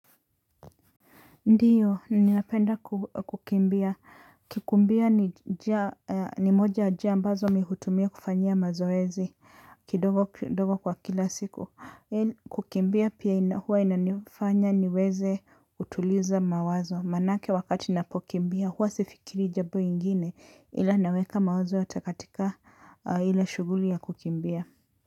Ndiyo, ninapenda kukimbia. Kikumbia ni moja ya jia ambazo mimi hutumia kufanyia mazoezi, kidogo kidogo kwa kila siku. Kukimbia pia huwa inanifanya niweze utuliza mawazo. Maanayake wakati napokimbia huwa sifikiri jambo ingine, ila naweka mawazo yote katika ile shughuli ya kukimbia.